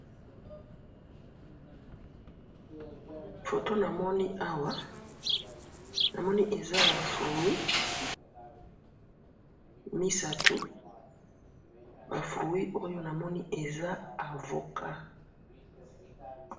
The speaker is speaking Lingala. photo na moni awa eza ba fruit misatu ba fruit oyo eza avocat